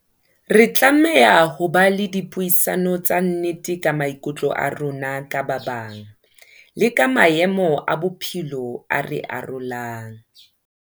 Re tlameha ho ba le dipuisano tsa nnete ka maikutlo a rona ka ba bang, le ka maemo a bophelo a re arolang.